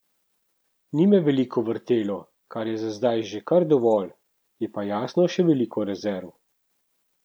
Ni me veliko vrtelo, kar je za zdaj že kar dovolj, je pa jasno še veliko rezerv.